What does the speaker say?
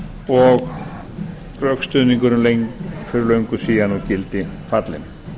og rökstuðningurinn fyrir löngu síðan úr gildi fallinn